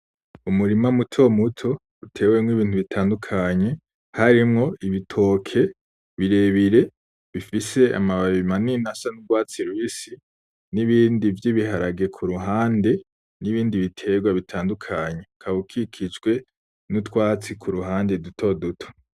Umurima mutomuto ,utewemwo Ibintu bitandukanye ,harimwo ibitoke birebire bifise amababi manini asa n'urwatsi rubisi ,n'ibindi vy'ibiharage kuruhande n'ibindi biterwa bitandukanye .Ukaba ukikijwe n'utwatsi kuruhande dutoduto.